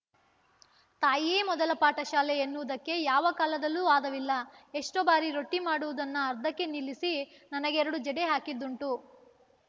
ತಾಯಿಯೇ ಮೊದಲ ಪಾಠ ಶಾಲೆ ಎನ್ನುವುದಕ್ಕೆ ಯಾವ ಕಾಲದಲ್ಲೂ ವಾದವಿಲ್ಲ ಎಷ್ಟೋ ಬಾರಿ ರೊಟ್ಟಿಮಾಡುವುದನ್ನು ಅರ್ಧಕ್ಕೆ ನಿಲ್ಲಿಸಿ ನನಗೆರಡು ಜಡೆ ಹಾಕಿದ್ದುಂಟು